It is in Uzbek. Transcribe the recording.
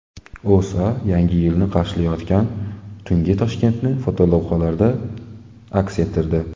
O‘zA Yangi yilni qarshilayotgan tungi Toshkentni fotolavhalarda aks ettirdi .